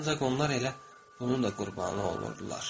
Ancaq onlar elə bunun da qurbanı olurdular.